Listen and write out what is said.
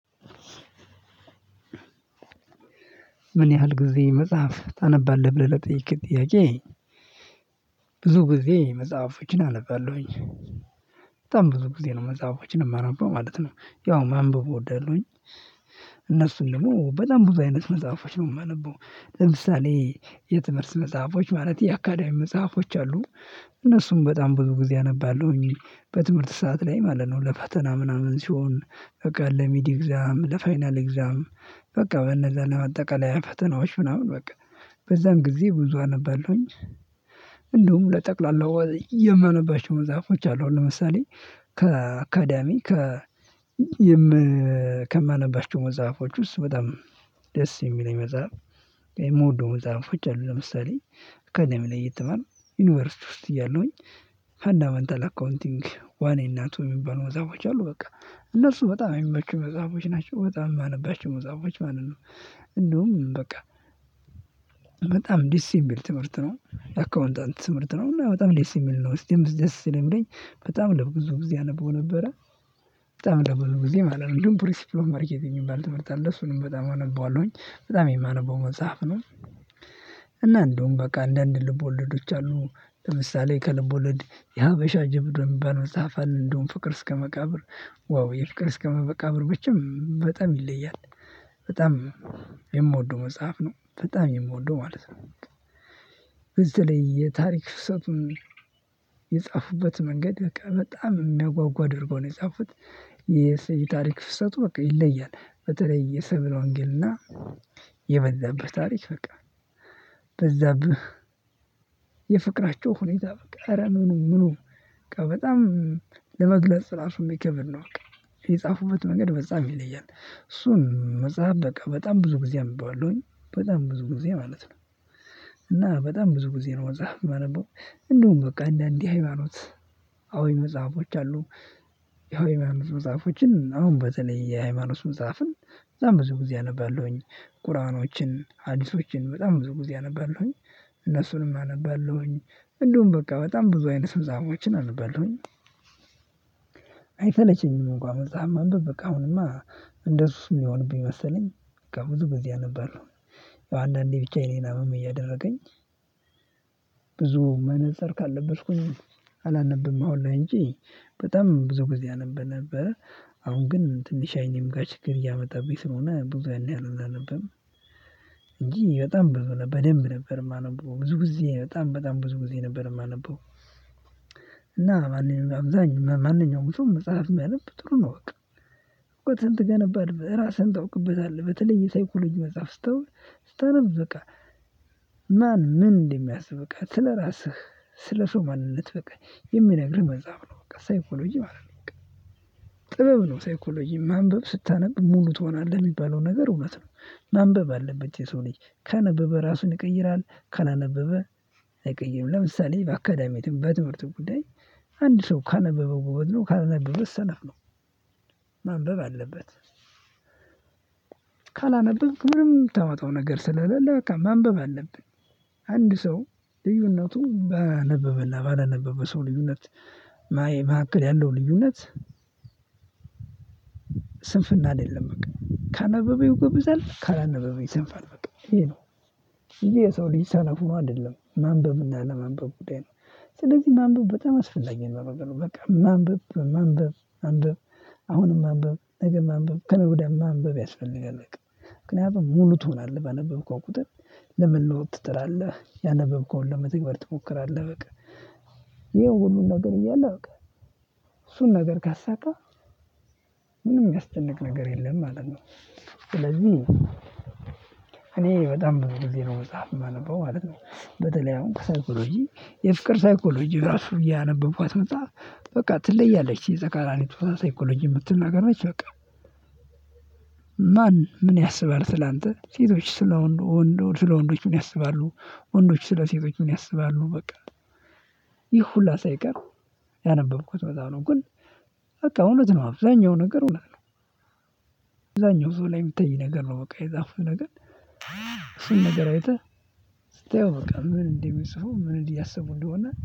ምን ያህል ጊዜ መጽሐፍ ታነባለህ ብለህ ለጠየቅከኝ ጥያቄ? ብዙ ጊዜ መጽሐፎችን አነባለሁኝ። በጣም ብዙ ጊዜ ነው መጽሐፎችን የማነበው ማለት ነው። ያው ማንበብ እወዳለሁኝ። እነርሱም ደግሞ በጣም ብዙ አይነት መጽሐፎች ነው የማነበው። ለምሳሌ የትምህርት መጽሐፎች ማለት የአካዳሚ መጽሐፎች አሉ። እነርሱም በጣም ብዙ ጊዜ አነባለሁኝ። በትምህርት ሰዓት ላይ ማለት ነው ለፈተና ምናምን ሲሆን በቃ ለሚድ ኤግዛም ለፋይናል ኤግዛም በቃ በነዛ ለአጠቃላይ ፈተናዎች ምናምን በቃ በዛም ጊዜ ብዙ አነባለሁኝ። እንደውም ለጠቅላላው የማነባቸው መጽሐፎች አሉ። ለምሳሌ ከአካዳሚ ከ የም ከማነባቸው መዛፎች ውስጥ በጣም ደስ የሚለኝ መጽሐፍ የምወደው መጽሐፎች አሉ። ለምሳሌ አካዳሚ ላይ እየተማርኩ ዩኒቨርሲቲ ውስጥ እያሉኝ ፈንዳመንታል አካውንቲንግ ዋን እ እና ቱ የሚባሉ መጽሐፎች አሉ በቃ እነርሱ በጣም የሚመቹ መጽሐፎች ናቸው በጣም የማነባቸው መጽሐፎች ማለት ነው። እንደውም በቃ በጣም ደስ የሚል ትምህርት ነው አካውንታንት ትምህርት ነው እና በጣም ደስ የሚል ነው። እስቲ ደስ ስለሚለኝ በጣም ለብዙ ጊዜ አነበው ነበረ። በጣም ለብዙ ጊዜ ማለት ነው ግን ሪሲፕሎች ማርኬት የሚባል ትምህርት አለ። እሱንም በጣም አነባለሁኝ በጣም የማነበው መጽሐፍ ነው። እና እንደውም በቃ አንዳንድ ልቦለዶች አሉ። ለምሳሌ ከልቦለድ የሀበሻ ጀብድ የሚባል መጽሐፍ አለ። እንደውም ፍቅር እስከመቃብር ዋው የፍቅር እስከመቃብር ብቻ በጣም ይለያል። በጣም የምወደው መጽሐፍ ነው በጣም የምወደው ማለት ነው። በተለይ የታሪክ ፍሰቱን የጻፉበት መንገድ በቃ በጣም የሚያጓጓ አድርገው ነው የጻፉት። የእሰይ ታሪክ ፍሰቱ በቃ ይለያል በተለይ የሰብለ ወንጌልና የበዛብህ ታሪክ በቃ በዛብህ የፍቅራቸው ሁኔታ በቃ ኧረ ምኑ ምኑ በጣም ለመግለጽ ራሱ የሚከብድ ነው። በቃ የጻፉበት መንገድ በጣም ይለያል። እሱን መጽሐፍ በቃ በጣም ብዙ ጊዜ አነበዋለሁኝ በጣም ብዙ ጊዜ ማለት ነው። እና በጣም ብዙ ጊዜ ነው መጽሐፍ የማነበው። እንደውም በቃ አንዳንዴ ሃይማኖት አወይ መጽሐፎች አሉ። ያው የሚያምር መጽሐፎችን አሁን በተለይ የሃይማኖት መጽሐፍን እዛም ብዙ ጊዜ አነባለሁኝ ቁራኖችን ሀዲሶችን በጣም ብዙ ጊዜ አነባለሁኝ። እነሱንም አነባለሁኝ። እንደውም በቃ በጣም ብዙ አይነት ስምዛቦችን አነባለሁኝ። አይሰለቸኝም እንኳን መጽሐፍ ማንብብ በቃ አሁንማ እንደሱ ሚሆንብኝ እየመሰለኝ በቃ ብዙ ጊዜ አነባለሁ። ያው አንዳንዴ ብቻ የኔን አመም እያደረገኝ ብዙ መነፅር ካልለበስኩኝ አላነብም። አሁን ላይ እንጂ በጣም ብዙ ጊዜ አነበብ ነበረ አሁን ግን ትንሽ አይኔም ጋር ችግር እያመጣብኝ ስለሆነ ብዙ ያን ያህል አላነብም። እንጂ በጣም ብዙ ነበር በደንብ ነበር የማነበው ብዙ ጊዜ በጣም በጣም ብዙ ጊዜ ነበር የማነበው። እና ማንኛውም አብዛኛው መጽሐፍ ቢያነብ ጥሩ ነው። በቃ እኮ ትን ታነባለህ ራስህን ታውቅበታለህ በተለይ የሳይኮሎጂ መጽሐፍ ስታውቅ ስታነብ በቃ ማን ምን እንደሚያስብ በቃ ስለራስህ ስለሰው ማንነት በቃ የሚነግርህ መጽሐፍ ነው። በቃ ሳይኮሎጂ ማለት ነው በቃ ጥበብ ነው ሳይኮሎጂ ማንበብ ስታነብ ሙሉ ትሆናለህ የሚባለው ነገር እውነት ነው። ማንበብ አለበት የሰው ልጅ ካነበበ ራሱን ይቀይራል። ካላነበበ አይቀይርም። ለምሳሌ በአካዳሚም በትምህርትም ጉዳይ አንድ ሰው ካነበበ ጎበዝ ነው ካላነበበ ሰነፍ ነው። ማንበብ አለበት። ካላነበብክ ምንም የምታመጣው ነገር ስለሌለ ማንበብ አለብህ። አንድ ሰው ልዩነቱ ባነበበና ባላነበበ ሰው ልዩነት ማየት መካከል ያለው ልዩነት። ስንፍና አይደለም በቃ ካነበበ ይጎብዛል ካላነበበ ይሰንፋል በቃ ይሄ ነው። ይሄ የሰው ልጅ ሰነፍ ነው ማለት አይደለም ማንበብ እና ያለማንበብ ጉዳይ ነው። ስለዚህ ማንበብ በጣም አስፈላጊ ነው። በቃ ማንበብ ማንበብ አሁንም ማንበብ ነገም ማንበብ ከነገ ወዲያም ማንበብ ያስፈልጋል። በቃ ምክንያቱም ሙሉ ትሆናለህ ባነበብከው ቁጥር ለመለወጥ ትጥራለህ ያነበብከውን ለመተግበር ትሞክራለህ በቃ። ይኸው ሁሉን ነገር እያለ በቃ እሱን ነገር ካሳካ ምንም የሚያስጨንቅ ነገር የለም ማለት ነው። ስለዚህ እኔ በጣም ብዙ ጊዜ ነው መጽሐፍ የማነበው ማለት ነው። በተለይ አሁን ሳይኮሎጂ የፍቅር ሳይኮሎጂ ራሱ ያነበብኳት መጽሐፍ በቃ ትለያለች። የተቃራኒ ጾታ ሳይኮሎጂ የምትል ነገሮች በቃ ማን ምን ያስባል ስላንተ ሴቶች ስለወንድ ወንዶች ስለ ወንዶች ምን ያስባሉ? ወንዶች ስለ ሴቶች ምን ያስባሉ? በቃ ይህ ሁሉ ሳይቀር ያነበብኩት በዚያ በኩል በቃ እውነት ነው አብዛኛው ነገር እውነት ነው። አብዛኛው ሰው ላይ የሚታይ ነገር ነው በቃ የጻፉት ነገር። እሱን ነገር አይተህ ስታየው በቃ ምን እንደሚጽፉ ምን እንዲህ እያሰቡ እንደሆነ